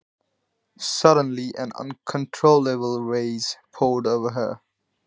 Skyndilega helltist yfir hana óstjórnleg bræði.